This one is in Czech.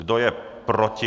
Kdo je proti?